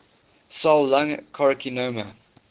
cell lung carcinoma